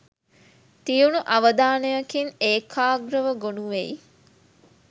තියුණු අවධානයකින් ඒකාග්‍රව ගොනු වෙයි.